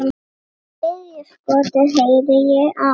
Þriðja skotið heyrði ég aðeins.